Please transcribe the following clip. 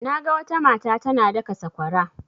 Naga wata mata tana daka sakwara.